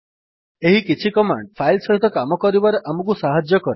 ଏହି କିଛି command file ସହିତ କାମ କରିବାରେ ଆମକୁ ସାହାଯ୍ୟ କରେ